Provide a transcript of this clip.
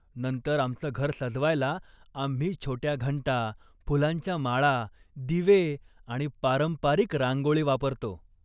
नंतर आमचं घर सजवायला आम्ही छोट्या घंटा, फुलांच्या माळा, दिवे, आणि पारंपरिक रांगोळी वापरतो.